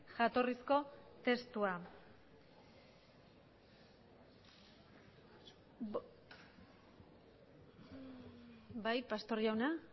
jatorrizko testua bai pastor jauna